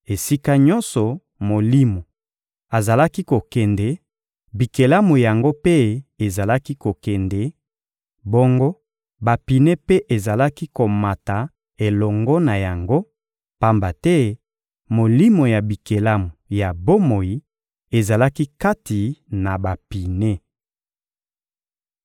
Esika nyonso Molimo azalaki kokende, bikelamu yango mpe ezalaki kokende; bongo bapine mpe ezalaki komata elongo na yango, pamba te molimo ya bikelamu ya bomoi ezalaki kati na bapine.